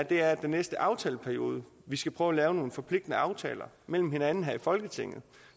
er den næste aftaleperiode vi skal prøve at lave nogle forpligtende aftaler med hinanden her i folketinget